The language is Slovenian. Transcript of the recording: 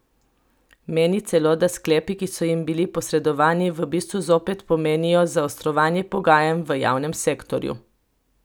Meni celo, da sklepi, ki so jim bili posredovani, v bistvu zopet pomenijo zaostrovanje pogajanj v javnem sektorju.